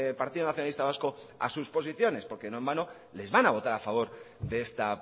partido nacionalista vasco a sus posiciones porque no en vano les van a votar a favor de esta